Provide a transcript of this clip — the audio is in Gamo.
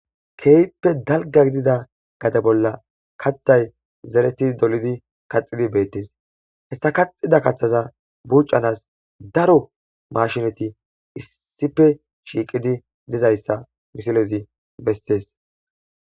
Keehippe dalga gidida gade bolla kaxay zereti dolidi kaxxidi beettes hessa kaxida kaththaza buucanas daro mashineti issife shiiqidi dizayssa misilezi bestees.